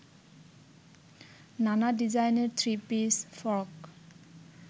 নানা ডিজাইনের three piece, frock